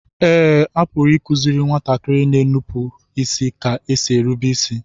Eé, a pụrụ ịkụziri nwatakịrị na-enupụ ka e si erube isi